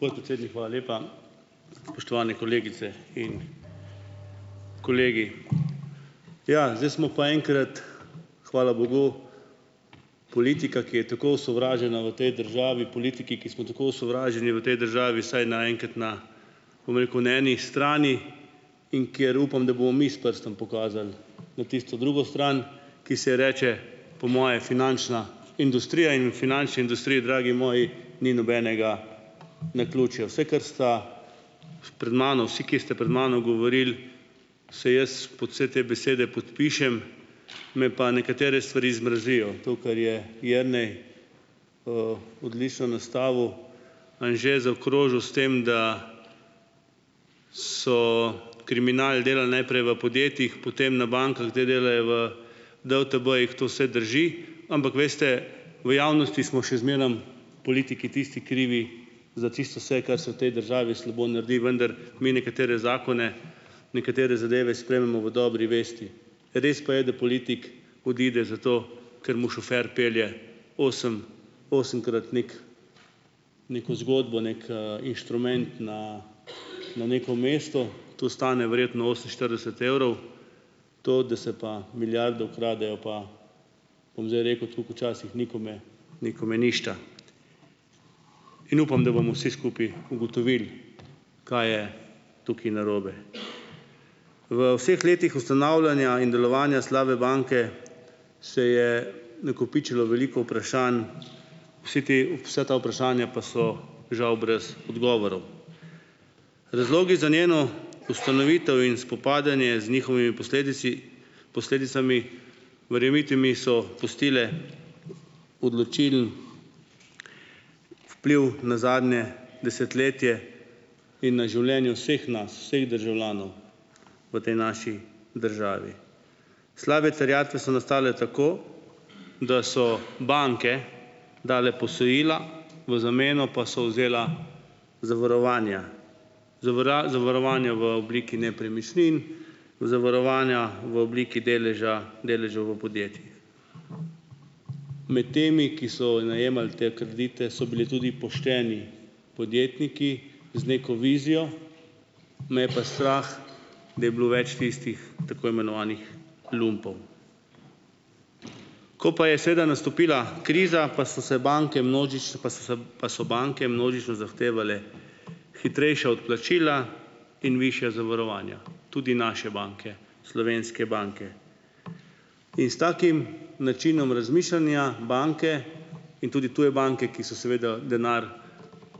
Podpredsednik, hvala lepa! Spoštovane kolegice in kolegi! Ja, zdaj smo pa enkrat, hvala bogu, politika, ki je tako osovražena v tej državi, politiki, ki smo tako osovraženi v tej državi, vsaj na enkrat na, bom rekel, na eni strani, in kjer upam, da bomo mi s prstom pokazali na tisto drugo stran, ki se ji reče, po moje, finančna industrija in v finančni industriji, dragi moji, ni nobenega naključja. Vse, kar sta pred mano, vsi, ki ste pred mano govorili, se jaz pod vse te besede podpišem, me pa nekatere stvari zmrazijo. To, kar je Jernej odlično nastavil, Anže zaokrožil s tem, da so kriminal delali najprej v podjetjih, potem na bankah, zdaj delajo v DUTB-jih, to vse drži, ampak veste, v javnosti smo še zmerom politiki tisti krivi za čisto vse, kar se v tej državi slabo naredi, vendar mi nekatere zakone, nekatere zadeve sprejmemo v dobri vesti. Res pa je, da politik odide zato, ker mu šofer pelje osem, osemkrat neko zgodbo, neki inštrument na na neko mesto, to stane verjetno oseminštirideset evrov. To, da se pa milijarde ukradejo, pa bom zdaj rekel tako kot včasih, nikome, nikome ništa, in upam, da bomo vsi skupaj ugotovili, kaj je tukaj narobe. V vseh letih ustanavljanja in delovanja slabe banke se je nakopičilo veliko vprašanj. Vsi te vsa ta vprašanja pa so žal brez odgovorov. Razlogi za njeno ustanovitev in spopadanje z njihovimi posledici, posledicami, verjemite mi, so pustile vpliv na zadnje desetletje in na življenje vseh nas vseh državljanov v tej naši državi. Slabe terjatve so nastale tako, da so banke dale posojila, v zameno pa so vzela zavarovanja zavarovanja v obliki nepremičnin, zavarovanja v obliki deleža, deležev v podjetjih. Med temi, ki so najemali te kredite, so bili tudi pošteni podjetniki z neko vizijo, me je pa strah, bi bilo več tistih tako imenovanih lumpov. Ko pa je seveda nastopila kriza, pa so se banke pa so se pa so banke množično zahtevale hitrejša odplačila in višja zavarovanja, tudi naše banke, slovenske banke, in s takim načinom razmišljanja banke in tudi tuje banke, ki so seveda denar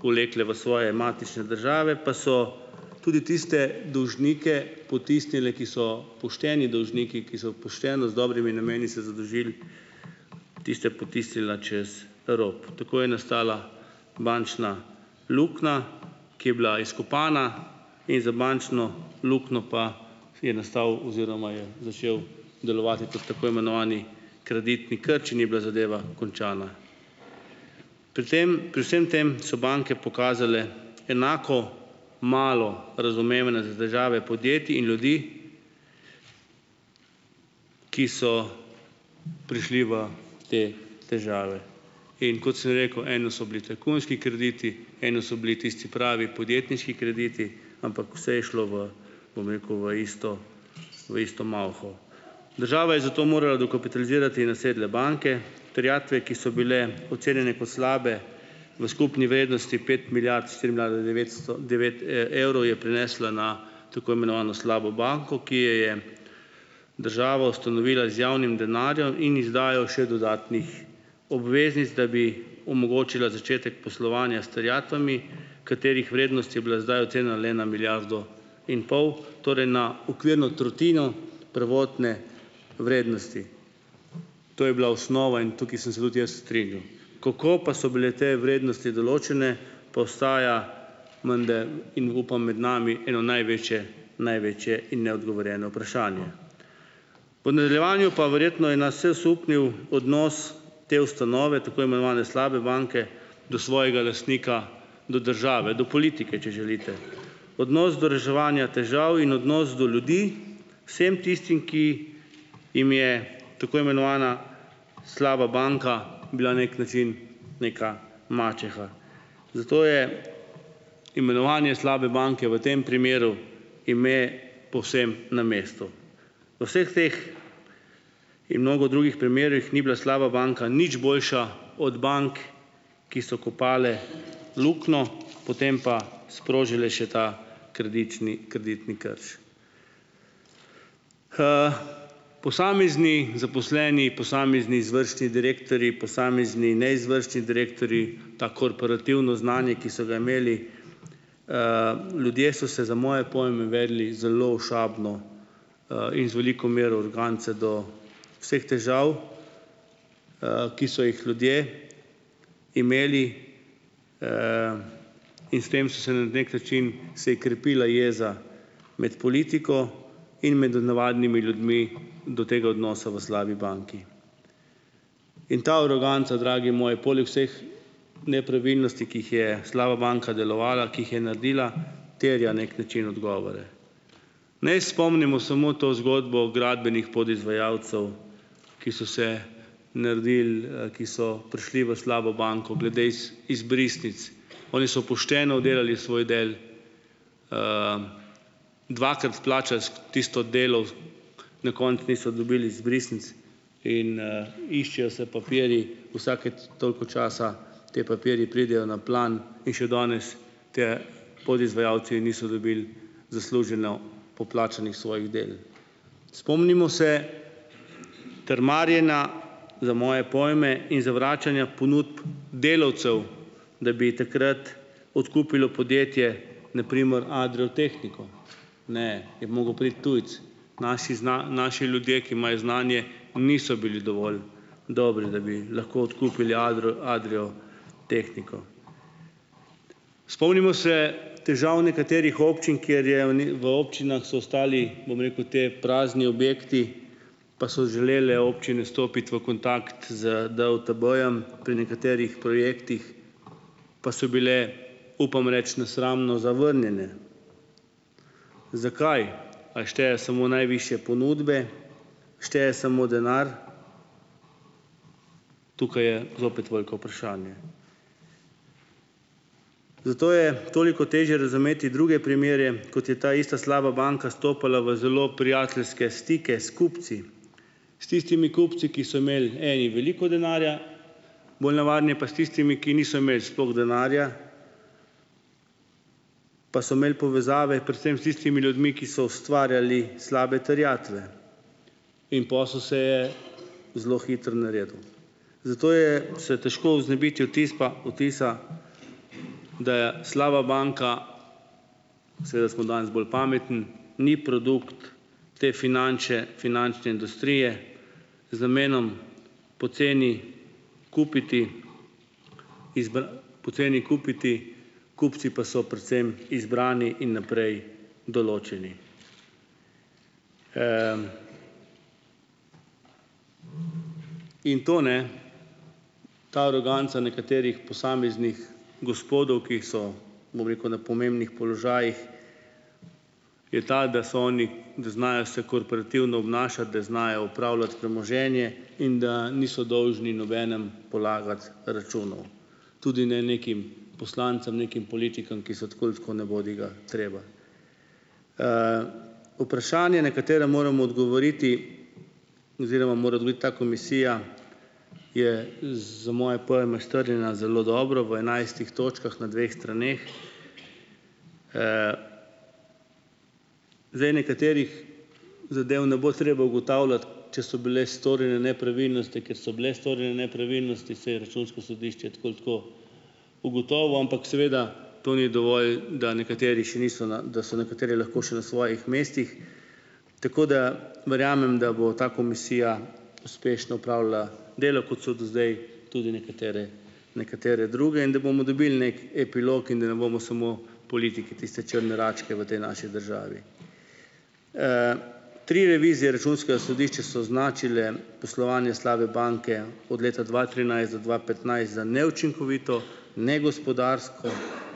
vlekle v svoje matične države, pa so tudi tiste dolžnike potisnile, ki so pošteni dolžniki, ki so pošteno z dobrimi nameni se zadolžili, tiste potisnila čez rob. Tako je nastala bančna luknja, ki je bila izkopana, in za bančno luknjo pa je nastal oziroma je začel delovati kot tako imenovani kreditni krč, in je bila zadeva končana. Pri tem pri vsem tem so banke pokazale enako malo razumevanja za težave podjetij in ljudi, ki so prišli v te težave. In kot sem rekel, eno so bili tajkunski krediti, eno so bili tisti pravi podjetniški krediti, ampak vse je šlo v, bom rekel, v isto, v isto mavho. Država je zato morala dokapitalizirati nasedle banke. Terjatve, ki so bile ocenjene kot slabe v skupni vrednosti pet milijard, štiri milijarde devetsto devet evrov, je prenesla na tako imenovano slabo banko, ki je je država ustanovila z javnim denarjem in izdajal še dodatnih obveznic, da bi omogočila začetek poslovanja s terjatvami, katerih vrednost je bila zdaj ocenjena le na milijardo in pol, torej na okvirno tretjino prvotne vrednosti, to je bila osnova in tukaj sem se tudi jaz strinjal, kako pa so bile te vrednosti določene, pa ostaja menda, in upam med nami, eno največje, največje in neodgovorjeno vprašanje. Po nadaljevanju pa verjetno je nas vse osupnil odnos te ustanove, tako imenovane slabe banke, do svojega lastnika, do države, do politike, če želite. Odnos do reševanja težav in odnos do ljudi, vsem tistim, ki jim je tako imenovana slaba banka bila nek način neka mačeha. Zato je imenovanje slabe banke v tem primeru, ime povsem na mestu. V vseh teh in mnogo drugih primerih ni bila slaba banka nič boljša od bank, ki so kopale luknjo, potem pa sprožile še ta kreditni kreditni krč. Posamezni zaposleni, posamezni izvršni direktorji, posamezni neizvršni direktorji, to korporativno znanje, ki so ga imeli, ljudje so se za moje pojme vedli zelo ošabno in z veliko mero arogance do vseh težav, ki so jih ljudje imeli, in s tem so se na nek način, se je krepila jeza med politiko in med od navadnimi ljudmi do tega odnosa v slabi banki. In ta aroganca, dragi moji, poleg vseh nepravilnosti, ki jih je slaba banka delovala, ki jih je naredila, terja nek način odgovore. Naj spomnimo samo to zgodbo o gradbenih podizvajalcev, ki so se naredili, ki so prišli v slabo banko glede izbrisnic, oni so pošteno oddelali svoj del, dvakrat plačali tisto delo, na koncu niso dobil izbrisnic in iščejo se papirji, vsake toliko časa ti papirji pridejo na plan, in še danes ti podizvajalci niso dobili zasluženo poplačanih svojih del. Spomnimo se trmarjenja, za moje pojme, in zavračanja ponudb delavcev, da bi takrat odkupilo podjetje, na primer Adrio Tehniko, ne, je mogel priti tujec. Naši naši ljudje, ki imajo znanje, niso bili dovolj dobri, da bi lahko odkupili Adrio, Adrio Tehniko. Spomnimo se težav nekaterih občin, kjer je, v v občinah so ostali, bom rekel, ti prazni objekti, pa so želele občine stopiti v kontakt z DUTB-jem pri nekaterih projektih, pa so bile, upam reči, nesramno zavrnjene. Zakaj? Ali šteje samo najvišje ponudbe? Šteje samo denar? Tukaj je zopet veliko vprašanje. Zato je toliko težje razumeti druge primere, kot je ta ista slaba banka stopala v zelo prijateljske stike s kupci. S tistimi kupci, ki so imeli eni veliko denarja, pa s tistimi, ki niso imeli sploh denarja, pa so imeli povezave predvsem s tistimi ljudmi, ki so ustvarjali slabe terjatve, in posel se je zelo hitro naredil. Zato je se težko znebiti vtis pa vtisa, da je slaba banka, seveda smo danes bolj pametni, ni produkt te finančne industrije, z namenom poceni kupiti, poceni kupiti, kupci pa so predvsem izbrani in naprej določeni. In to ne, ta aroganca nekaterih posameznih gospodov, ki so, bom rekel, na pomembnih položajih, je ta, da so oni, da znajo se korporativno obnašati, da znajo upravljati premoženje in da niso dolžni nobenemu polagati računov. Tudi ne nekim poslancem, nekim politikom, ki so tako ali tako nebodigatreba. Vprašanje, na katera moram odgovoriti oziroma mora odgovoriti ta komisija, je, za moje pojme, strjena zelo dobro, v enajstih točkah na dveh straneh. Zdaj nekaterih zadev ne bo treba ugotavljati, če so bile storjene nepravilnosti, ker so bile storjene nepravilnosti, saj je Računsko sodišče tako ali tako ugotovilo, ampak seveda to ni dovolj, da nekateri še niso na, da so nekateri lahko še na svojih mestih. Tako da, verjamem, da bo ta komisija uspešno opravljala delo, kot so do zdaj tudi nekatere nekatere druge, in da bomo dobili nek epilog in da ne bomo samo politiki tiste črne račke v tej naši državi. Tri revizije računskega sodišča so označile poslovanje slabe banke od leta dva trinajst do dva petnajst za neučinkovito, negospodarsko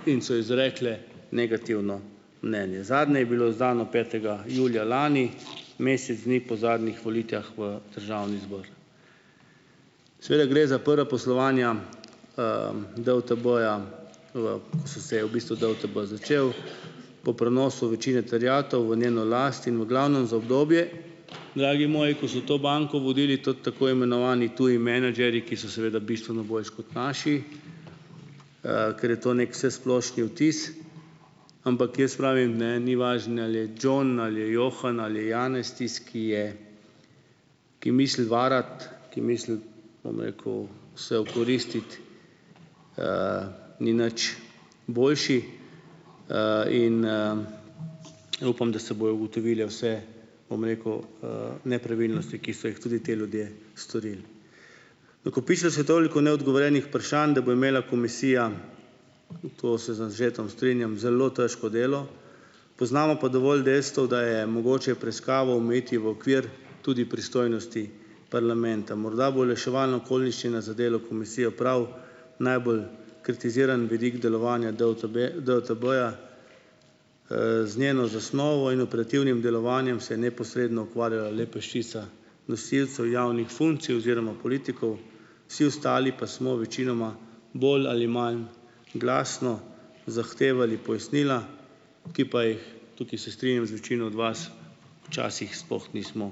in so izrekle negativno mnenje. Zadnje je bilo izdano petega julija lani, mesec dni po zadnjih volitvah v Državni zbor. Seveda gre za prva poslovanja DUTB-ja, v ko so se v bistvu DUTB začeli po prenosu večine terjatev v njeno last in v glavnem za obdobje, dragi moji, ko so to banko vodili tako imenovani tudi menedžerji, ki so seveda bistveno boljši kot naši, ker je to nek vsesplošni vtis, ampak jaz pravim, ne, ni važno ali je John, ali je Johann, ali je Janez tisti, ki je, ki misli varati, ki misli, bom rekel, se okoristiti, ni nič boljši in upam, da se bojo ugotovile vse, bom rekel, nepravilnosti, ki so jih tudi ti ljudje storili. Nakopičilo se je toliko neodgovorjenih vprašanj, da bo imela komisija, to se z Anžetom strinjam, zelo težko delo. Poznamo pa dovolj dejstev, da je mogoče preiskavo omejiti v okvir tudi pristojnosti parlamenta. Morda bo olajševalna okoliščina za delo komisije prav najbolj kritiziran vidik delovanja DUTB, DUTB-ja. Z njeno zasnovo in operativnim delovanjem se neposredno ukvarja le peščica nosilcev javnih funkcij oziroma politikov, vsi ostali pa smo večinoma bolj ali manj glasno zahtevali pojasnila, ki pa jih, tukaj se strinjam z večino od vas, včasih sploh nismo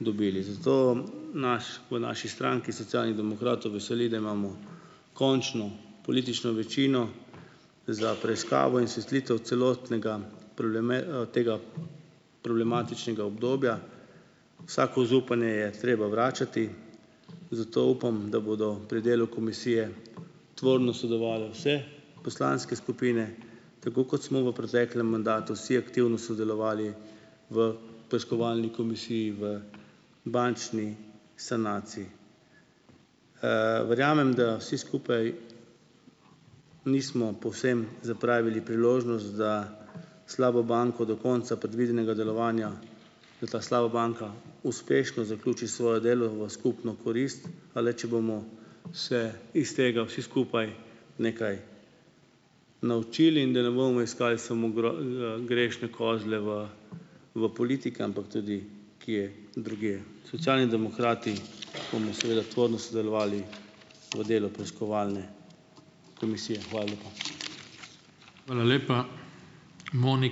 dobili. Zato naš v naši stranki Socialnih demokratov veseli, da imamo končno politično večino za preiskavo celotnega tega problematičnega obdobja. Vsako zaupanje je treba vračati, zato upam, da bodo pri delu komisije tvorno sodelovale vse poslanske skupine, tako kot smo v preteklem mandatu vsi aktivno sodelovali v preiskovalni komisiji v bančni sanaciji. Verjamem, da vsi skupaj nismo povsem zapravili priložnost za slabo banko do konca predvidenega delovanja. Da ta slaba banka uspešno zaključi svoje delo v skupno korist, a le če bomo se iz tega vsi skupaj nekaj naučili, in da ne bomo iskali samo grešne kozle v v politiki, ampak tudi kje drugje. Socialni demokrati bomo seveda tvorno sodelovali v delu preiskovalne komisije. Hvala lepa. Hvala lepa.